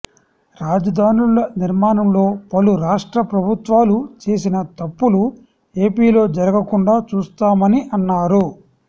రాజధానుల నిర్మాణంలో పలు రాష్ట్ర ప్రభుత్వాలు చేసిన తప్పులు ఏపీలో జరగకుండా చూస్తామని అన్నారు